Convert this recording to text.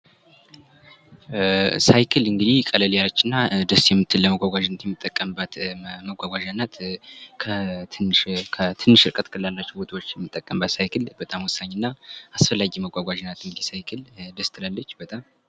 ሳይክል እንግዲህ ቀለል ያለችና ደስ የምትል ለመጓጓዣነት የምንጠቀምበት መጓጓዣ ናት። ትንሽ እርቀት ላለው የምንጠቀምበት ሳይክል በጣም ወሳኝና አስፈላጊ ነው።